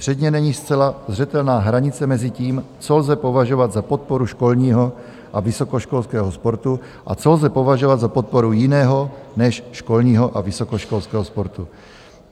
Předně není zcela zřetelná hranice mezi tím, co lze považovat za podporu školního a vysokoškolského sportu a co lze považovat za podporu jiného než školního a vysokoškolského sportu.